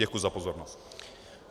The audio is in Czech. Děkuji za pozornost.